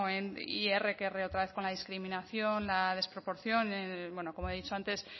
y erre que erre otra vez con la discriminación la desproporción bueno como he dicho antes